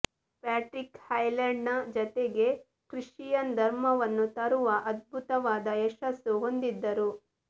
Patrick ಐರ್ಲೆಂಡ್ನ ಜನತೆಗೆ Christian ಧರ್ಮವನ್ನು ತರುವ ಅದ್ಭುತವಾದ ಯಶಸ್ಸನ್ನು ಹೊಂದಿದ್ದರು